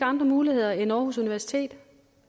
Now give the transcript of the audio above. andre muligheder end aarhus universitet